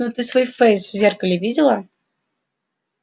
ну ты свой фейс в зеркале видела